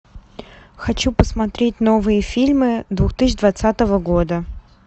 хочу посмотреть новые фильмы две тысячи двадцатого года